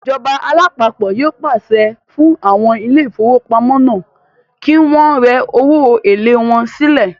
Ìjọba alápapọ̀ yóò pàṣẹ fún àwọn ilé ìfowópamọ́ náà kí wọ́n rẹ owó èlé wọn sílẹ̀